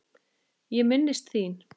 Ég minnist þín.